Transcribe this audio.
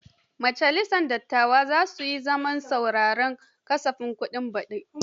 Majalisar dattawa za su yi zaman sauraren kasafin kuɗin baɗi.